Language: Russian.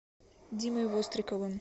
димой востриковым